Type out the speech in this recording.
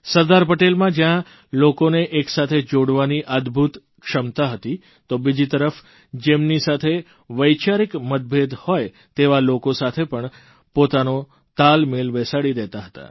સરદાર પટેલમાં જ્યાં લોકોને એક સાથે જોડવાની અદભૂત ક્ષમતા હતી તો બીજી તરફ જેમની સાથે વૈચારિક મતભેદ હોય તેવા લોકો સાથે પણ પોતાનો તાલમેળ બેસાડી દેતા હતા